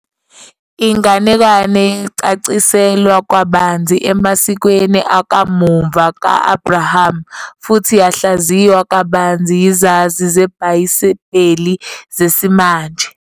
Inganekwane yacaciselwa kabanzi emasikweni akamuva ka-Abraham, futhi yahlaziywa kabanzi yizazi zebhayibheli zesimanje.